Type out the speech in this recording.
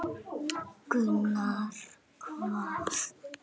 Gunnar: Hvað?